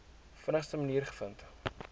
vinnigste manier gevind